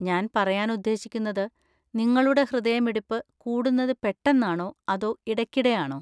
ഞാൻ പറയാൻ ഉദ്ദേശിക്കുന്നത്, നിങ്ങളുടെ ഹൃദയമിടിപ്പ് കൂടുന്നത് പെട്ടെന്നാണോ അതോ ഇടയ്ക്കിടെയാണോ?